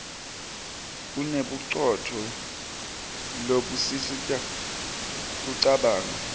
unebucopho lobusisita kucabanga